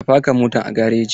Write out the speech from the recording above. Ka faka motan a gareji!